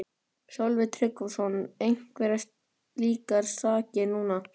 Sölvi Tryggvason: Einhverjar slíkar sakir núna?